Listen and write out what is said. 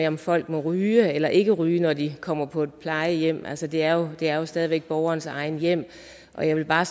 om folk må ryge eller ikke ryge når de kommer på et plejehjem altså det er er jo stadig væk borgernes eget hjem og jeg vil bare